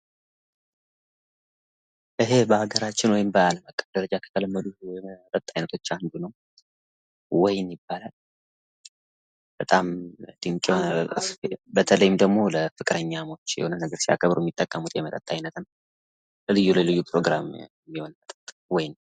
ይሄ በሀገራችን በባህል ምግብ ደረጃ ከተለመዱት የመጠጥ አይነቶች አንዱ ነው። ወይን ይባላል። በጣም የሚጥም ደግሞ በተለይም ለፍቅረኝሞች ያገቡ የሚጠቀሙት የመጠጥ አይነት ነው። ለልዩ ልዩ ፕሮግራም ይሆናል ወይን።